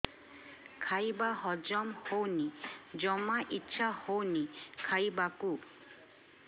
ଖାଇବା ହଜମ ହଉନି ଜମା ଇଛା ହଉନି ଖାଇବାକୁ